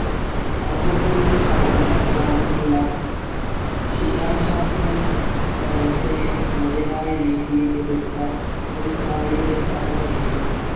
കാസർഗോഡിലെ തളങ്കര ഗ്രാമത്തിലുള്ള ശിലാശാസനം വരൾച്ചയെ തന്റേതായ രീതിയിൽ എതിർത്ത ഒരു റാണിയുടെ കഥ പറയുന്നു.